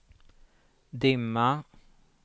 dimma